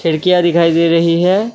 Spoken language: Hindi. खिड़कियां दिखाई दे रही हैं।